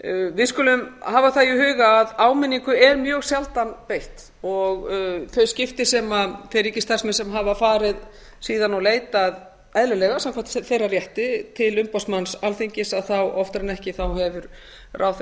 við skulum hafa það í huga að áminningu er mjög sjaldan beitt og þau skipti sem þeir ríkisstarfsmenn sem hafa farið síðan og leitað eðlilega samkvæmt þeirra rétti til umboðsmanns alþingis að þá hefur oftar en ekki ráðherra